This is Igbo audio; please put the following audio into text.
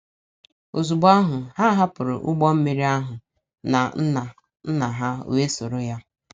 “ Ozugbo ahụ, ha hapụrụ ụgbọ mmiri ahụ na nna nna ha wee soro ya. ”